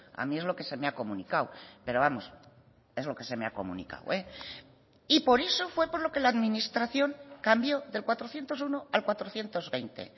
a mí es lo que se me ha comunicado pero vamos es lo que se me ha comunicado y por eso fue por lo que la administración cambió del cuatrocientos uno al cuatrocientos veinte